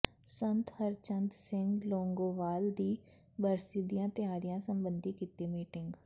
ਸੰਤ ਹਰਚੰਦ ਸਿੰਘ ਲੋਂਗੋਵਾਲ ਦੀ ਬਰਸੀ ਦੀਆਂ ਤਿਆਰੀਆਂ ਸਬੰਧੀ ਕੀਤੀ ਮੀਟਿੰਗ